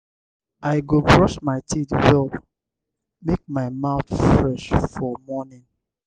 i go brush my teeth well make my mouth fresh for morning.